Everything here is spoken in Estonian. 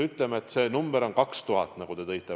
Ütleme, et see arv on 2000, nagu te ütlesite.